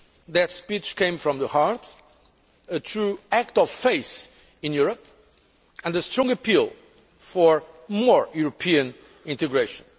That speech came from the heart a true act of faith in Europe and a strong appeal for more European integration.